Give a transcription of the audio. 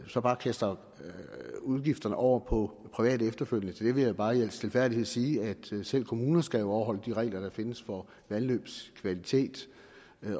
så bare kaster udgifterne over på private efterfølgende til det vil jeg bare i al stilfærdighed sige at selv kommuner jo skal overholde de regler der findes for vandløbs kvalitet